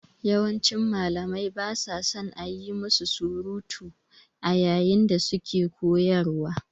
Yawancin Malamai ba sa son a yi musu surutu a yayin da suke koyarwa.